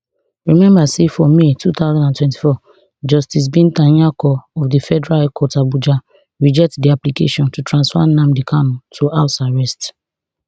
remember say for may two thousand and twenty-four justice binta nyako of di federal high court abuja reject di application to transfer nnamdi kanu to house arrest